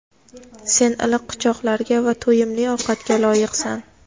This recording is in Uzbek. sen iliq quchoqlarga va to‘yimli ovqatga loyiqsan.